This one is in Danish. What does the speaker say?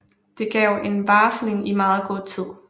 Det gav en varsling i meget god tid